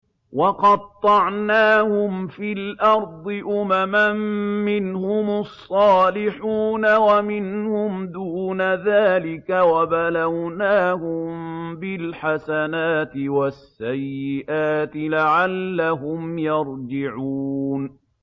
وَقَطَّعْنَاهُمْ فِي الْأَرْضِ أُمَمًا ۖ مِّنْهُمُ الصَّالِحُونَ وَمِنْهُمْ دُونَ ذَٰلِكَ ۖ وَبَلَوْنَاهُم بِالْحَسَنَاتِ وَالسَّيِّئَاتِ لَعَلَّهُمْ يَرْجِعُونَ